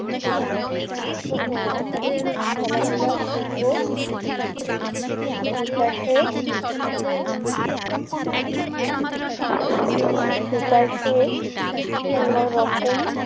শিল্প ও খেলাধুলার দিকেও বিকাশের বিকাশের অন্যরকম